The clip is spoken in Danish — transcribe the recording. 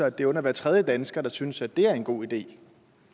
at det er under hver tredje dansker der synes at det er en god idé